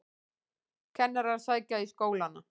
Kennarar sækja í skólana